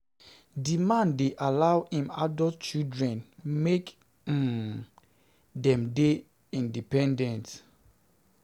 Di man dey allow im adult children make um dem dey independent. um dey independent. um